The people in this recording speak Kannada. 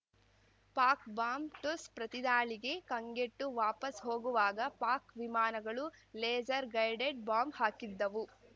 ಪಾಕ್‌ ಬಾಂಬ್‌ ಠುಸ್‌ ಪ್ರತಿದಾಳಿಗೆ ಕಂಗೆಟ್ಟು ವಾಪಸ್‌ ಹೋಗುವಾಗ ಪಾಕ್‌ ವಿಮಾನಗಳು ಲೇಸರ್‌ ಗೈಡೆಡ್‌ ಬಾಂಬ್‌ ಹಾಕಿದ್ದವು